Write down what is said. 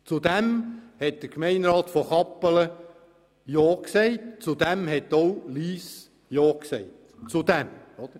Der Gemeinderat von Kappelen hat dies gutgeheissen und auch Lyss hat dem zugestimmt.